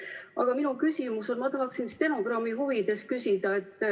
Aga oma küsimuse ma tahaksin stenogrammi huvides küsida.